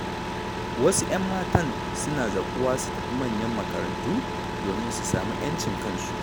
Wasu 'yanmatan suna zaƙuwa su tafi manyan makarantu, domin su sami 'yancin kansu.